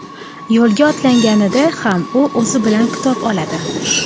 Yo‘lga otlanganida ham u o‘zi bilan kitob oladi.